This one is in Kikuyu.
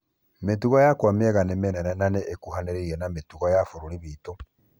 Mĩtugo yakwa mĩega ni mĩnene na nĩĩkuhanĩrĩirie na mĩtugo ya bũrũri witũ.